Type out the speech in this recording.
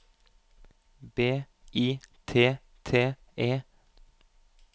B I T T E